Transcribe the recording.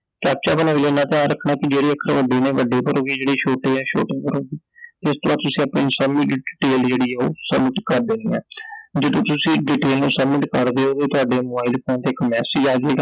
captcha ਦਾ ਇਨ੍ਹਾਂ ਧਿਆਨ ਰੱਖਣਾ ਕਿ ਜਿਹੜੇ ਅੱਖਰ ਵੱਡੇ ਨੇ ਵੱਡੇ ਭਰੋਗੇ, ਜਿਹੜੇ ਛੋਟੇ ਐ ਛੋਟੇ ਭਰੋਗੇ ਤੇ ਇਸ ਤੋਂ ਬਾਅਦ ਤੁਸੀਂ ਸਾਰੀ ਡਿਟੇਲ ਜਿਹੜੀ ਐ ਉਹ submit ਕਰ ਦੇਣੀ ਐ I ਜਦੋਂ ਤੁਸੀਂ ਡਿਟੇਲ ਨੂੰ ਸੁਬਮਿਤ ਕਰ ਦਿਓਗੇ ਤੁਹਾਡੇ ਮੋਬਾਈਲ ਫੋਨ ਤੇ ਇੱਕ message ਮੈਸਜ ਅਜੇਗਾ I